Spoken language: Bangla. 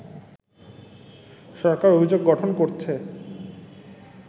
সরকার অভিযোগ গঠন করছে